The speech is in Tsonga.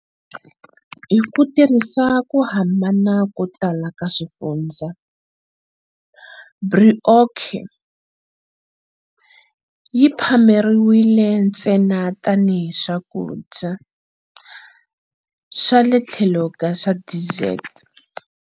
Hiku tirhisa ku hambana ko tala ka swifundzha, brioche yi phameriwile ntsena tani hi swakudya swale tlhelo swa dessert.